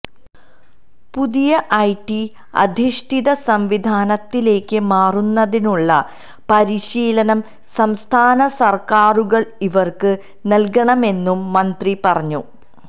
പുതിയ ഐടി അധിഷ്ഠിത സംവിധാനത്തിലേക്ക് മാറുന്നതിനുള്ള പരിശീലനം സംസ്ഥാന സർക്കാരുകൾ ഇവർക്ക് നൽകണമെന്നും മന്ത്രി പറഞ്ഞു